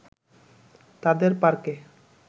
তাদের পার্কে